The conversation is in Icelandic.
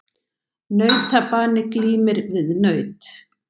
Nautabani glímir við naut.